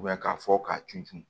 k'a fɔ k'a tun cun